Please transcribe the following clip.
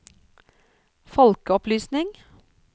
folkeopplysning